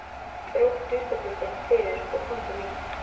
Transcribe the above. Hún dró gluggatjöldin fyrir og kom til mín.